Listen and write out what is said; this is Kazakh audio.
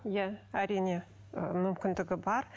иә әрине ы мүмкіндігі бар